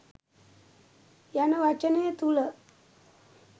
යන වචනය තුළ